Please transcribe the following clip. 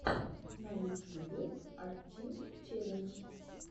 на ютьюбе арттим челлендж